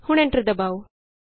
ਹੁਣ ਐਂਟਰ ਦਬਾਉ